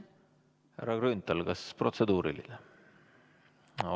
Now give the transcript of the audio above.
Härra Grünthal, kas protseduuriline küsimus?